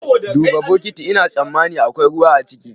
Duba bukiti Ina sammami akwai ruwa ciki.